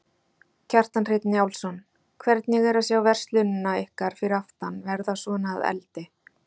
Kjartan Hreinn Njálsson: Hvernig er að sjá verslunina ykkar fyrir aftan verða svona að eldi?